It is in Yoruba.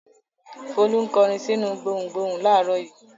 Folú ń kọrin sínú gbohùngbohùn láàárọ̀ yìí.